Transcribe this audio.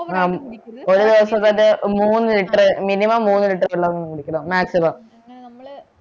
ഒരു ദിവസം തന്നെ മൂന്നു litre minimum മൂന്നു litre വെള്ളം കുടിക്കണം maximum